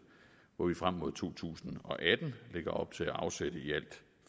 hvor vi frem mod to tusind og atten lægger op til at afsætte i alt